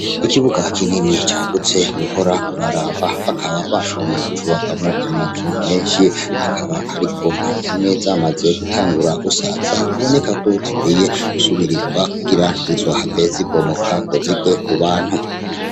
Ikibuga kinini cagutse, wohora uraraba. Bakaba bashoboye kucubakamwo amazu menshi. Akaba ariko zimwe zamaze gusaza biboneka ko zikwiye gusubirizwa ira ntizizohave zibomoka ntizirwe kubantu.